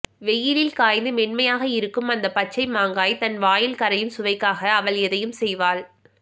வெயிலில் காய்ந்து மென்மையாக இருக்கும் அந்த பச்சை மாங்காய் தன் வாயில் கரையும் சுவைக்காக அவள் எதையும் செய்வாள்